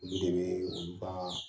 Olu de bɛ olu ka